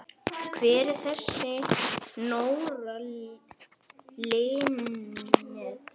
Hver er þessi Nóra Linnet?